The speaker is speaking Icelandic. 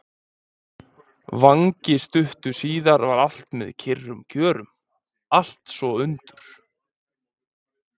vangi stuttu síðar var allt með kyrrum kjörum, allt svo undur